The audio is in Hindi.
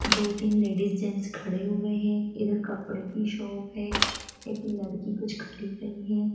दो तीन लेडीज जेंट्स खड़े हुए है इधर कपड़े की शॉप है एक लड़की कुछ खरीद रही है।